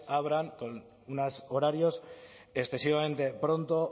abran con unos horarios excesivamente pronto